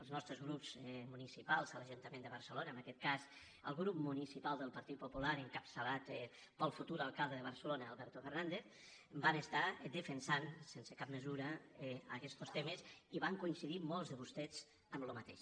els nostres grups municipals a l’ajuntament de barcelona en aquest cas el grup municipal del par·tit popular encapçalat pel futur alcalde de barcelona alberto fernández van defensar sense cap mesura aquestos temes i van coincidir molts de vostès en el mateix